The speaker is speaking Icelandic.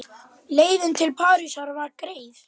Leiðin til Parísar var greið.